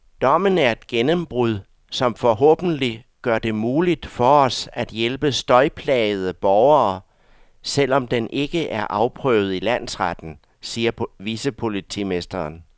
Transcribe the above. Dommen er et gennembrud, som forhåbentlig gør det muligt for os at hjælpe støjplagede borgere, selv om den ikke er afprøvet i landsretten, siger vicepolitimesteren.